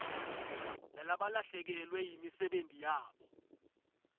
lalabalahlekelwe yimisebenti yabo